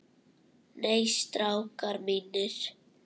Nei, strákar mínir.